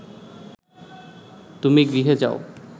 তুমি গৃহে যাও